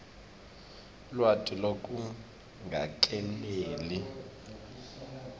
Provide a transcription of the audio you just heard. lwati lolungakeneli